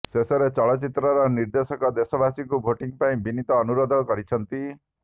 ଶେଷରେ ଚଳଚ୍ଚିତ୍ରର ନିର୍ଦ୍ଦେଶକ ଦେଶବାସୀଙ୍କୁ ଭୋଟିଂ ପାଇଁ ବିନୀତ ଅନୁରୋଧ କରିଛନ୍ତି